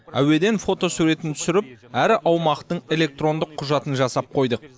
әуеден фотосуретін түсіріп әр аумақтың электрондық құжатын жасап қойдық